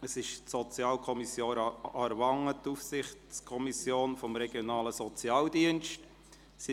Es handelt sich um die Sozialkommission Aarwangen, die Aufsichtskommission des regionalen Sozialdienstes.